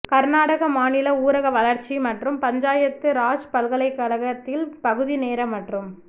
கர்நாடக மாநில ஊரக வளர்ச்சி மற்றும் பஞ்சாயத்து ராஜ் பல்கலைக்கழகத்தில் பகுதிநேர மற்றும்